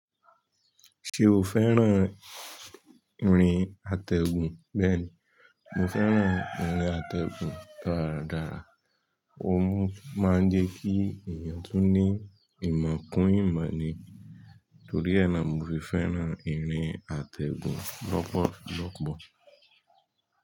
Ṣé o fẹ́ràn ìrìn àtẹ̀gùn? Bẹ́ẹ̀ni, mo fẹ́ràn ìrìn àtẹ̀gùn daradára. Òun máa ń jẹ́ kí èèyàn tun ní ìmọ̀ kún ìmọ̀ ni. Torí ẹ́ náà mo fi fẹ́ràn ìrìn àtẹ̀gùn lọ́pọ̀lọ́pọ̀.